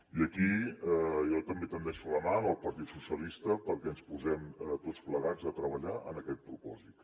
i aquí jo també estenc la mà al partit socialistes perquè ens posem tots plegats a treballar en aquest propòsit